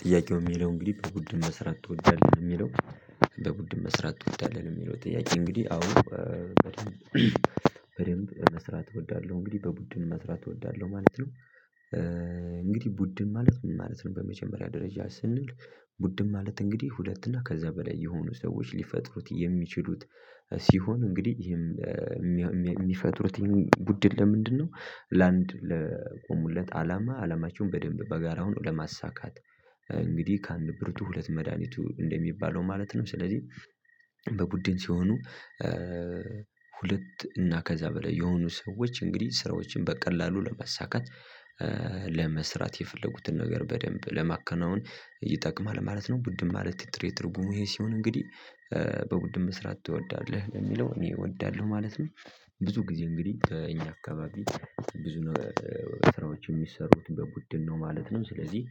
ጥያቄው የሚለው እንግዲህ በቡድን መስራት ትወዳለህ የሚለው? በቡድን መስራት ትወዳለሁ የሚለው ጥያቄ እንግዲህ አዎ በደንብ በደንብ መስራት እወዳለሁ እንግዲህ በቡድን መስራት እወዳለሁ ማለት ነው። እንግዲህ ቡድን ማለት ምን ማለት ነው? በመጀመሪያ ደረጃ ስንል ቡድን ማለት እንግዲህ ሁለት እና ከዛ በላይ የሆኑ ሰዎች ሊፈጥሩት የሚችሉት ሲሆን እንግዲህ ይሄም ሚ ሚ የሚፈጥሩት ቡድን ለምንድንነው ለአንድ ለቆሙለት አላማ ዓላማቸውን በደንብ በጋራ ሆነው ለማሳካት እንግዲህ ከአንድ ብርቱ ሁለት መድሃኒቱ እንደሚባለው ማለት ነው። ስለዚህ በቡድን ሲሆኑ። ሁለት እና ከዛ በላይ የሆኑ ሰዎች እንግዲህ ስራዎችን በቀላሉ ለማሳካት ለመስራት የፈለጉትን ነገር በደንብ ለማከናወን ይጠቅማል ማለት ነው። ቡድን ማለት ጥሬ ትርጉሙ ይሄ ሲሆን እንግዲህ በቡድን መስራት ትወዳለህ ለሚለው እኔ እወዳለሁ ማለት ነው። ብዙ ጊዜ እንግዲህ እኛ አካባቢ ብዙ ነ ስራዎች የሚሰሩት በቡድን ነው ማለት ነው። ስለዚህ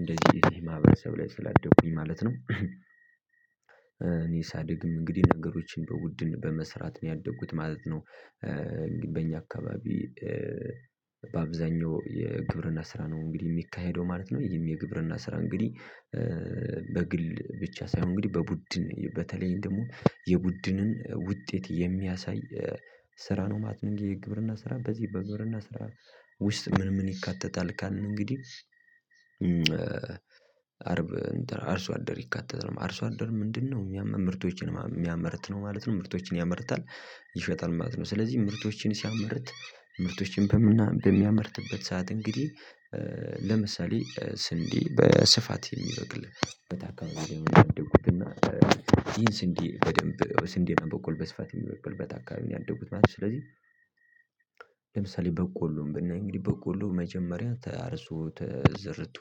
እንደዚህ እንደዚህ ማህበረሰብ ላይ ስላደኩኝ ማለት ነው። እኔ ሳድግም እንግዲህ ነገሮችን በቡድን በመስራት ነው ያደጉት ማለት ነው። በእኛ አካባቢ በአብዛኛው የግብርና ስራ ነው እንግዲህ የሚካሄደው ማለት ነው። ይሄም የግብርና ስራ እንግዲህ በግል ብቻ ሳይሆን እንግዲህ በቡድን በተለይም ደግሞ የቡድንን ውጤት የሚያሳይ ስራ ነው ማለት ነው። የግብርና ስራ በዚህ በግብርና ስራ ውስጥ ምን ምን ይካተታል ካልን እንግዲህ? አርብ እንትን አርሶ አደር ይካተታል አርሶ አደር ምንድንነው ያማ ምርቶችን የሚያመርት ነው ማለት ነው። ምርቶችን ያመርታል ይሸጣል ማለት ነው። ስለዚህ ምርቶችን ሲያመርት ምርቶችን በምና በሚያመርትበት ሰዓት እንግዲህ ለምሳሌ ስንዴ በስፋት የሚበቅልበት ላይ ነው ያደኩት እና ይህን ስንዴ በደንብ ስንዴ በቆሎ በስፋት የሚበቅልበት አካባቢ ነው ያደኩት ማለት ነው። ስለዚህ ለምሳሌ በቆሎን ብናይ እንግዲህ በቆሎ መጀመሪያ ታርሶ ተዘርቶ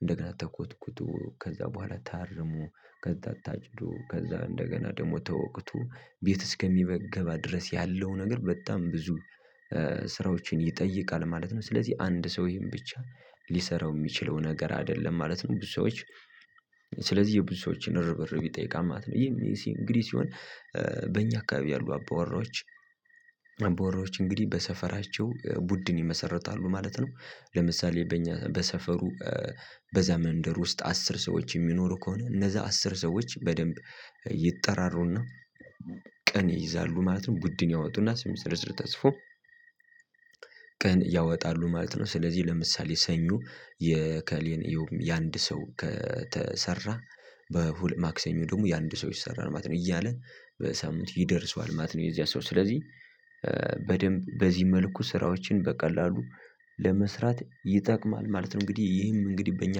እንደገና ተኮትኩቶ ከዛ በኋላ ታርሞ ከዛ ታጭዱ ከዛ እንደገና ደግሞ ተወቅቶ ቤት እስከሚበገባ ድረስ ያለው ነገር በጣም ብዙ ስራዎችን ይጠይቃል ማለት ነው። ስለዚህ አንድ ሰው ይህን ብቻ ሊሠራው የሚችለው ነገር አይደለም ማለት ነው። ብዙ ሰዎች ስለዚህ የብዙ ሰዎችን እርብርብ ይጠይቃል ማለት ነው። ይህ እንግዲህ ሲሆን በእኛ አካባቢ ያሉ አባውራዎች አባውራዎች እንግዲህ በሰፈራቸው ቡድን ይመሰርታሉ ማለት ነው። ለምሳሌ በእኛ በሰፈሩ በዛ መንደር ውስጥ አስር ሰዎች የሚኖሩ ከሆነ እነዛ አስር ሰዎች በደንብ ይጠራሩ እና ቀን ይይዛሉ ማለት ነው። ቡድን ያወጡና ስም ዝርዝር ተፅፎ ቀን ያወጣሉ ማለት ነው። ስለዚህ ለምሳሌ ሰኞ የእከሌን ይኸውም የአንድ ሰው ከተሰራ በሁል ማክሰኞ ደግሞ የአንድ ሰው ይሰራል ማለት ነው እያለ በሳምንት ይደርሰዋል ማለት ነው። የዚያ ሰው ስለዚህ በደንብ በዚህ መልኩ ስራዎችን በቀላሉ ለመስራት ይጠቅማል ማለት ነው። እንግዲህ ይህም እንግዲህ በእኛ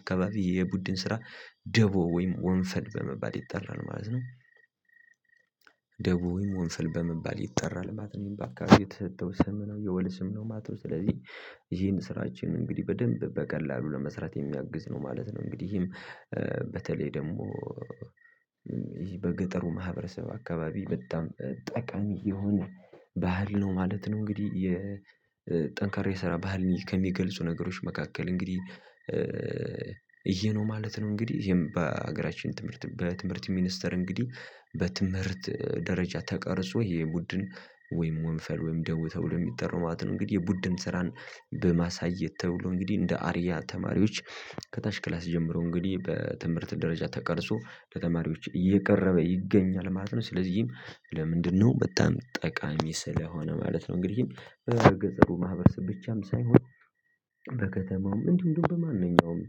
አካባቢ የቡድን ስራ ደቦ ወይም ወንፈል በመባል ይጠራል ማለት ነው። ደቦ ወይም ወንፈል በመባል ይጠራል ማለት ነው። ይህም በአካባቢ የተሰጠው ስም ነው የወል ስም ነው ማለት ነው። ስለዚህ ይህን ስራችን እንግዲህ በደንብ በቀላሉ ለመስራት የሚያግዝ ነው ማለት ነው። እንግዲህም በተለይ ደግሞ ይሄ በገጠሩ ማህበረሰብ አካባቢ በጣም ጠቃሚ የሆነ ባህል ነው ማለት ነው። እንግዲህ የጠንካራ የስራ ባህል ከሚገልጹ ነገሮች መካከል እንግዲህ ይሄነው ማለት ነው። እንግዲህ ይሄም በሀገራችን ትምህርት በትምህርት ሚኒስተር እንግዲህ በትምህርት ደረጃ ተቀርጾ ይሄ የቡድን ወይም ወንፈል ወይም ደቦ ተብሎ የሚጠራው ማለት ነው። እንግዲህ የቡድን ስራን በማሳየት ተብሎ እንግዲህ እንደ አርያ ተማሪዎች ከታች ክላስ ጀምሮ እንግዲህ በትምህርት ደረጃ ተቀርጾ ለተማሪዎች እየቀረበ ይገኛል ማለት ነው። ስለዚህም ለምንድንነው በጣም ጠቃሚ ስለሆነ ማለት ነው። እንግዲህ በገጠሩ ማህበረሰብ ብቻም ሳይሆን በከተማውም እንዲሁ እንደው በማንኛውም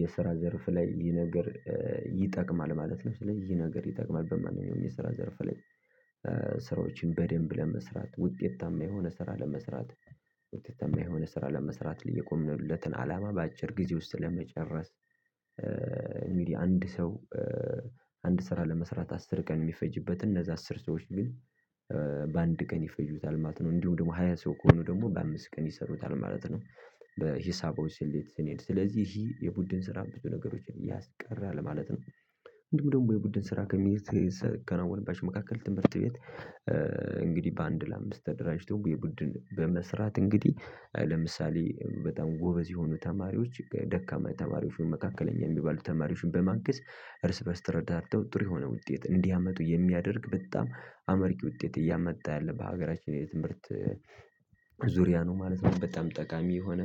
የስራ ዘርፍ ላይ ይህ ነገር ይጠቅማል ማለት ነው። ስለዚህ ይሄ ነገር ይጠቅማል በማንኛውም የስራ ዘርፍ ላይ ስራዎችን በደንብ ለመስራት ውጤታማ የሆነ ስራ ለመስራት ውጤታማ የሆነ ስራ ለመስራት የቆምንለትን አላማ በአጭር ጊዜ ውስጥ ለመጨረስ። አንድ ሰው አንድ ስራ ለመስራት አስር ቀን የሚፈጅበት እንነዛ አስር ሰዎች ግን በአንድ ቀን ይፈጁታል ማለት ነው። እንዲሁ ደግሞ ሃያ ሰው ከሆኑ ደግሞ በአምስት ቀን ይሰሩታል ማለት ነው። በሂሳቡ ስሌት ስንሄድ ስለዚህ ይሄ የቡድን ስራ ብዙ ነገሮችን ያስቀራል ማለት ነው። እንዲሁም ደግሞ የቡድን ስራ ከሚሴ ሰ ከናዎንባቸው መካከል ትምህርት ቤት እንግዲህ በአንድ ለአምስት ተደራጅተው የቡድን በመስራት እንግዲህ ለምሳሌ በጣም ጎበዝ የሆኑ ተማሪዎች ደካማ ተማሪዎች መካከለኛ የሚባሉ ተማሪዎችን በማንገዝ እርስ በእርስ ተረዳድተው ጥሩ የሆነ ውጤት እንዲያመጡ የሚያደርግ በጣም አመርቂ ውጤት እያመጣ ያለ በሀገራችን የትምህርት ዙሪያ ነው ማለት ነው። በጣም ጠቃሚ የሆነ